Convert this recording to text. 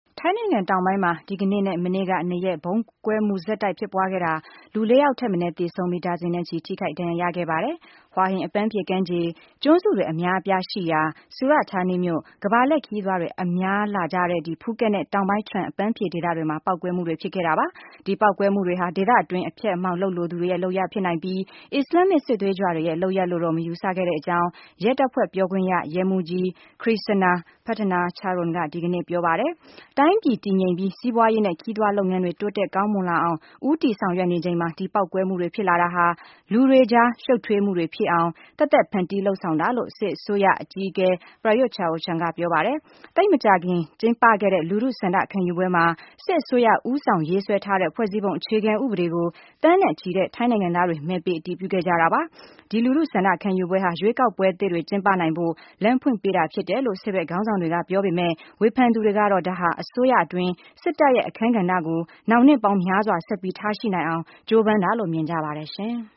ထိုင်းနိုင်ငံတောင်ပိုင်းမှာ ဒီကနေ့ နဲ့ မနေ့က နှစ်ရက် ဗုံးပေါက်ကွဲမှုတွေ ဆက်တိုက် ဖြစ်ပွားခဲ့တာမှာ လူ ၄ ယောက်ထက်မနည်း သေဆုံးပြီး ဒါဇင်နဲ့ချီ ထိခိုက်ဒဏ်ရာ ရခဲ့ပါတယ်။ Hua Hin အပန်းဖြေကမ်းခြေ ၊ ကျွန်းစုတွေ အများအပြားရှိရာ Surat Thani မြို့၊ ကမ္ဘာလှည့် ခရီးသွားတွေ အလာများတဲ့ Phuket နဲ့ တောင်ပိုင်း Trang အပန်းဖြေဒေသတွေမှာ ပေါက်ကွဲမှုတွေ ဖြစ်ခဲ့တာပါ။ ဒီပေါက်ကွဲမှုတွေဟာ ဒေသတွင်း အဖျက်အမှောက် လုပ်လိုသူတွေ ရဲ့လုပ်ရပ် ဖြစ်နိုင်ပြီး အစ္စလာမ်မစ်စစ်သွေးကြွတွေရဲ့ လုပ်ရပ်လို့တော့ မယူဆရတဲ့အကြောင်း ရဲတပ်ဖွဲ့ပြောခွင့်ရ ရဲမှူးကြီး Krisana Pattanacharoen က ဒီကနေ့ ပြောပါတယ်။ တိုင်းပြည် တည်ငြိမ်ပြီး စီးပွားရေးနဲ့ ခရီးသွားလုပ်ငန်းတွေ တိုးတက်ကောင်းမွန် လာအောင် ဦးတည် ဆောင်ရွက်နေချိန်မှာ ဒီဗုံးပေါက်ကွဲမှုတွေဖြစ်တာဟာ လူတွေကြား ရှုပ်ထွေးမှုတွေဖြစ်အောင် သက်သက် ဖန်တီး လုပ်ဆောင်တာလို့ စစ်အစိုးရ အကြီးအကဲ Prayut Chan-o-cha က ပြောပါတယ်။ သိပ်မကြာခင်ကျင်းပခဲ့တဲ့ လူထုဆန္ဒခံယူပွဲမှာ စစ်အစိုးရ ဦးဆောင် ရေးဆွဲထားတဲ့ ဖွဲ့စည်းပုံ အခြေခံဥပဒေကို သန်းနဲ့ချီတဲ့ ထိုင်းနိုင်ငံသားတွေ မဲပေး အတည်ပြု ခဲ့ကြတာပါ။ ဒီလူထုဆန္ဒခံယူပွဲဟာ ရွေးကောက်ပွဲသစ်တွေ ကျင်းပနိုင်ဖို့ လမ်းပွင့်သွားတာဖြစ်တယ်လို့ စစ်ဘက်ခေါင်းဆောင်တွေ က ပြောပေမဲ့၊ ဝေဖန်သူတွေကတော့ ဒါဟာ အစိုးရအတွင်း စစ်တပ်ရဲ့ အခန်းကဏ္ဍကို နောင် နှစ်ပေါင်းများစွာ ဆက်ပြီးထားရှိနိုင်အောင် ကြိုးပမ်းတာလို့ မြင်ကြပါတယ်။